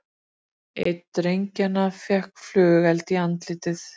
Einn drengjanna fékk flugeld í andlitið